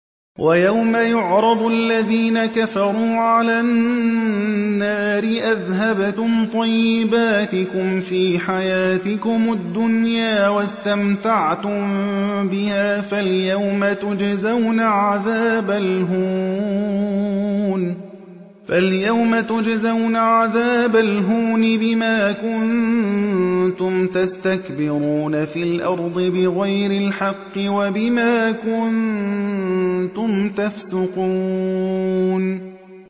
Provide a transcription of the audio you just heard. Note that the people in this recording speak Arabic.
وَيَوْمَ يُعْرَضُ الَّذِينَ كَفَرُوا عَلَى النَّارِ أَذْهَبْتُمْ طَيِّبَاتِكُمْ فِي حَيَاتِكُمُ الدُّنْيَا وَاسْتَمْتَعْتُم بِهَا فَالْيَوْمَ تُجْزَوْنَ عَذَابَ الْهُونِ بِمَا كُنتُمْ تَسْتَكْبِرُونَ فِي الْأَرْضِ بِغَيْرِ الْحَقِّ وَبِمَا كُنتُمْ تَفْسُقُونَ